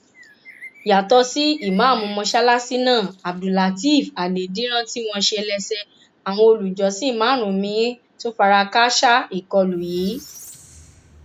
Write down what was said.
yàtọ sí ìmáàmù mọsálásí náà abdullátẹẹf àdèdírán tí wọn ṣe lẹsẹ àwọn olùjọsìn márùnún miín tún fara kááṣá ìkọlù yìí